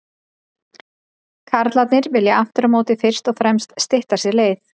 Karlarnir vilja aftur á móti fyrst og fremst stytta sér leið.